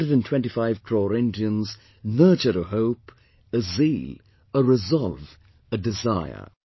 125 crore Indians nurture a hope, a zeal, a resolve, a desire